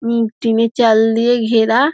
উম টিনের চাল দিয়ে ঘেরা |